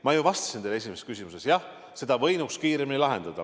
Ma ju vastasin teie esimesele küsimusele, et jah, selle võinuks kiiremini lahendada.